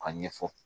A ɲɛfɔ